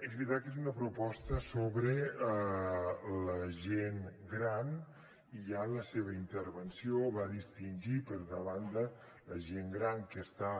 és veritat que és una proposta sobre la gent gran i ja en la seva intervenció va distingir per una banda la gent gran que està